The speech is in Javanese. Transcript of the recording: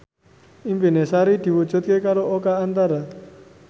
impine Sari diwujudke karo Oka Antara